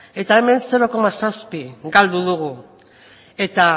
eta hemen zero koma zazpi galdu dugu eta